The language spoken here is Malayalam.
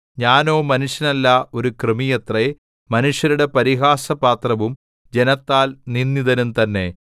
ഞാനോ മനുഷ്യനല്ല ഒരു കൃമിയത്രേ മനുഷ്യരുടെ പരിഹാസപാത്രവും ജനത്താൽ നിന്ദിതനും തന്നെ